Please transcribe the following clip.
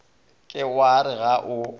ke wa re ga o